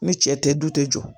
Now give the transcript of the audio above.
Ni cɛ tɛ du tɛ jɔ